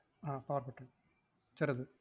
അഹ് power button ചെറുത്.